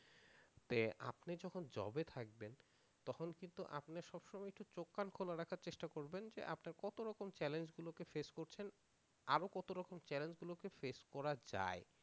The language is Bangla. আপনি যখন job এ থাকবেন তখন কিন্তু আপনি সবসময় একটু চোখ কান খোলা রাখার চেষ্টা করবেন যে আপনার কত রকম চ্যালেঞ্জ গুলো কে ফেস করছেন আরো কত রকম চ্যালেঞ্জ গুলো কে face করা যায়।